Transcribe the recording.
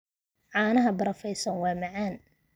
Caanaha barafaysan waa macaan.